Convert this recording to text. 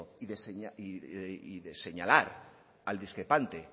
y de señalar al discrepante